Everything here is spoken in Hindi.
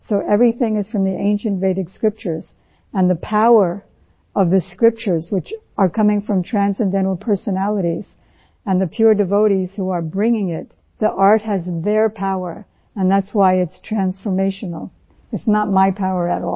so everything is from ancient Vedic scriptures and the power of these scriptures which are coming from transcendental personalities and the pure devotees who are bringing it the art has their power and that's why it's transformational it is not my power at all